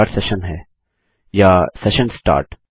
यह start session है या सेशन start